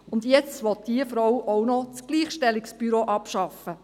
Und jetzt will diese Frau auch noch das Gleichstellungsbüro abschaffen!